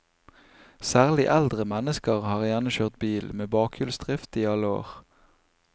Særlig eldre mennesker har gjerne kjørt bil med bakhjulsdrift i alle år.